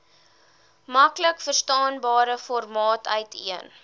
maklikverstaanbare formaat uiteen